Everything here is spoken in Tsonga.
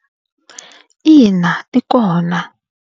Ina ti kona.